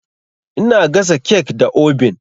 Ina gasa kek da obin.